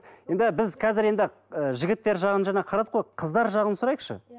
енді біз қазір енді ы жігіттер жағын жаңа қарадық қой қыздар жағын сұрайықшы